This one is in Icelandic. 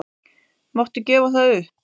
Máttu gefa það upp?